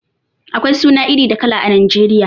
Akwai suna iri da kala a Nijeriya